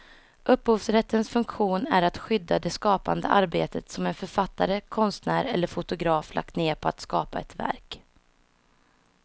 Upphovsrättens funktion är att skydda det skapande arbete som en författare, konstnär eller fotograf lagt ned på att skapa ett verk.